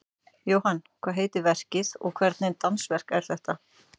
Jóhann, hvað heitir verkið og hvernig dansverk er þetta?